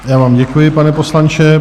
Já vám děkuji, pane poslanče.